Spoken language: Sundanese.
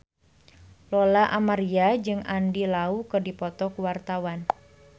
Lola Amaria jeung Andy Lau keur dipoto ku wartawan